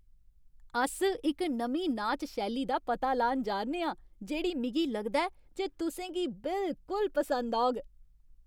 अस इक नमीं नाच शैली दा पता लान जा 'रने आं जेह्ड़ी मिगी लगदा ऐ जे तुसें गी बिलकुल पसंद औग।